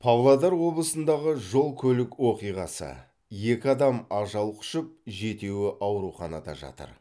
павлодар облысындағы жол көлік оқиғасы екі адам ажал құшып жетеуі ауруханада жатыр